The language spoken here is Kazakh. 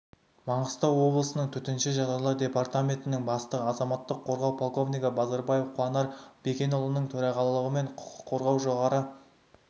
маңғыстау облысының төтенше жағдайлар департаментінің бастығы азаматтық қорғау полковнигі базарбаев қуанар бекенұлының төрағалығымен құқық қорғау жоғары